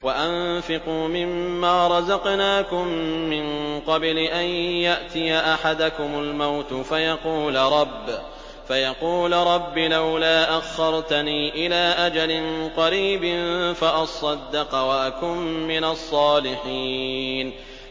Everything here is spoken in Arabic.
وَأَنفِقُوا مِن مَّا رَزَقْنَاكُم مِّن قَبْلِ أَن يَأْتِيَ أَحَدَكُمُ الْمَوْتُ فَيَقُولَ رَبِّ لَوْلَا أَخَّرْتَنِي إِلَىٰ أَجَلٍ قَرِيبٍ فَأَصَّدَّقَ وَأَكُن مِّنَ الصَّالِحِينَ